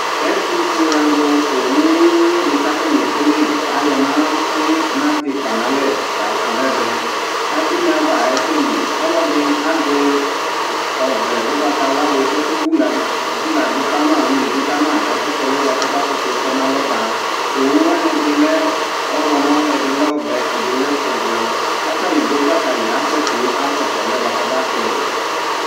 ɛtũ fué alũ owu wʊyũ ũyu di katani ekelé kayɔ nati natikpa nalɛ la kɔnɛvɛ kadu uneava aséli ɔlɔdi azɛ ɔvlɛ ũgbata wla di kɔke wulad vuladu kama wilidu kama kakɔsũ ɔluɛ bua kɔba kutu tɔnalɔ ba owũ wani ɛdi le ɔylɔmɔ edi lẽ ɔvɛ ɛdilɛ ũblɔ katani dũ kpakali asɛti akɔsũ akɔsũ ɔluiɛ bua kɔba tɛvɛ